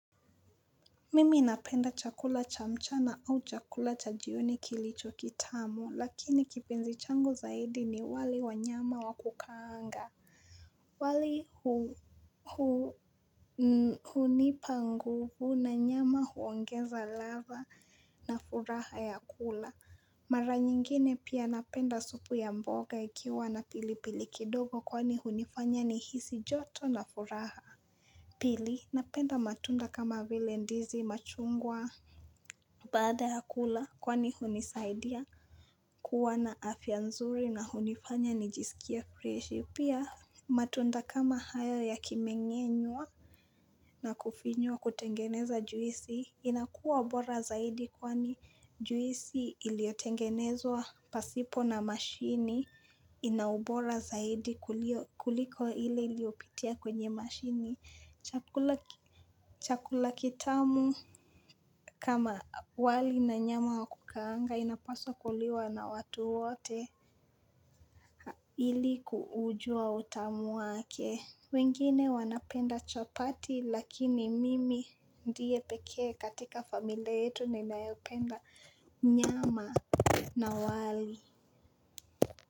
Mimi napenda chakula cha mchana au chakula cha jioni kilicho kitamu lakini kipenzi changu zaidi ni wali wanyama wakukaanga wali hunipa nguvu na nyama huongeza ladha na furaha ya kula Mara nyingine pia napenda supu ya mboga ikiwa na pilipili kidogo kwani hunifanya ni hisi joto na furaha Pili napenda matunda kama vile ndizi machungwa Bada ya kula, kwani hunisaidia kuwa na afia nzuri na hunifanya nijisikia freshi. Pia, matunda kama hayo yakimengenwa na kufinywa kutengeneza juisi, inakua ubora zaidi kwani juisi iliotengenezwa pasipo na mashini, inaubora zaidi kuliko ile iliopitia kwenye mashini. Chakula kitamu kama wali na nyama wakukaanga inapasa kuliwa na watu wote ili kuujua utamu wake wengine wanapenda chapati lakini mimi ndiye pekee katika familia yetu ninaependa nyama na wali.